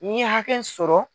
N ye hakɛ sɔrɔ.